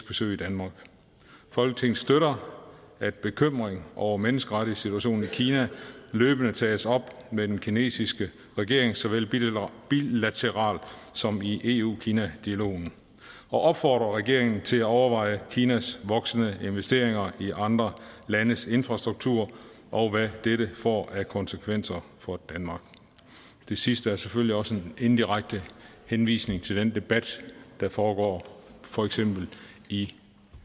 besøg i danmark folketinget støtter at bekymring over menneskerettighedssituationen i kina løbende tages op med den kinesiske regering såvel bilateralt som i eu kina dialogen og opfordrer regeringen til at overveje kinas voksende investeringer i andre landes infrastruktur og hvad dette får af konsekvenser for danmark det sidste er selvfølgelig også en indirekte henvisning til den debat der foregår for eksempel i